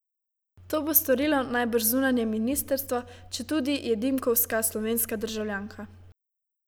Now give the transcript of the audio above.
To bo storilo najbrž zunanje ministrstvo, četudi je Dimkovska slovenska državljanka.